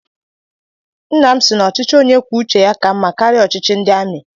Nna m si na ochichi onye kwuo uche ya ka mma karịa ọchịchị ndị amị